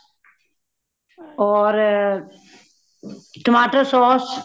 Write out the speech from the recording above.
ਹੋਰ , ਟਮਾਟਰ sauce